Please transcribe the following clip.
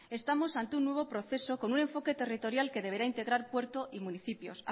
estamos ante un nuevo proceso con un enfoque territorial que deberá integrar puerto y municipios